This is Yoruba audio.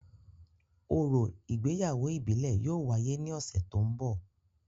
Orȯ igbeyawo ibile yóò wáyè ni ọsẹ to n bọ.